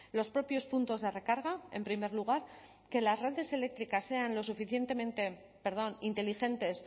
los propios puntos de recarga en primer lugar que las redes eléctricas sean lo suficientemente perdón inteligentes